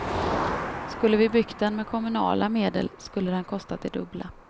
Skulle vi byggt den med kommunala medel skulle den kostat det dubbla.